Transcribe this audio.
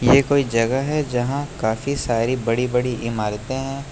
ये कोई जगह है जहां काफी सारी बड़ी बड़ी इमारतें हैं।